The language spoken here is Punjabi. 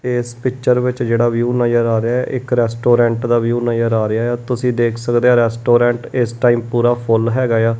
ਇਸ ਪਿੱਚਰ ਵਿੱਚ ਜਿਹੜਾ ਵਿਊ ਨਜ਼ਰ ਆ ਰਿਹਾ ਐ ਇੱਕ ਰੈਸਟੋਰੈਂਟ ਦਾ ਵਿਊ ਨਜ਼ਰ ਆ ਰਿਹਾ ਐ ਤੁਸੀਂ ਦੇਖ ਸਕਦੇ ਔ ਰੈਸਟੋਰੈਂਟ ਇਸ ਟਾਈਮ ਪੂਰਾ ਫੁੱਲ ਹੈਗਾ ਏ ਆ।